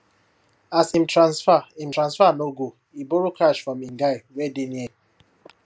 as him transfer him transfer no go e borrow cash from him guy wey dey near